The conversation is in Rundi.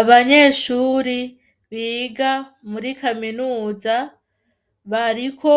Abanyeshuri biga muri kaminuza bariko